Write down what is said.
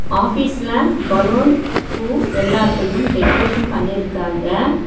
ஆஃபீஸ்ல பலூன் பூ எல்லாத்தையும் டெக்ரேசன் பண்ணிருக்காங்க.